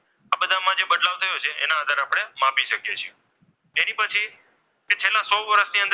આપણે માપી શકીએ છીએ જેની પછી છેલ્લા સો વર્ષની અંદર આપણે.